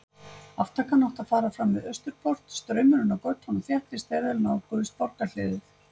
Aftakan átti að fara fram við Austurport, straumurinn á götunum þéttist þegar þeir nálguðust borgarhliðið.